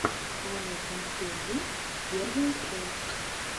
аня консерви первая часть